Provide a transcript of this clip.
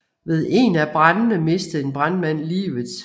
Ved en af brandene mistede en brandmand livet